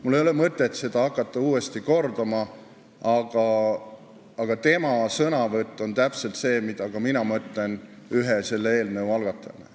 Mul ei ole mõtet hakata seda teile uuesti ette lugema, aga tema sõnavõtu sisu on täpselt see, mida ka mina mõtlen ühe selle eelnõu algatajana.